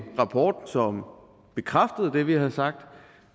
rapport som bekræftede det vi har sagt